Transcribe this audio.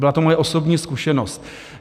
Byla to moje osobní zkušenost.